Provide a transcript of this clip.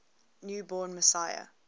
new born messiah